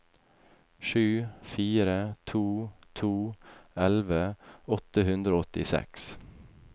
sju fire to to elleve åtte hundre og åttiseks